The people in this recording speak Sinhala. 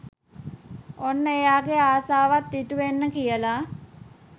ඔන්න එයාගේ ආසවත් ඉටුවෙන්න කියලා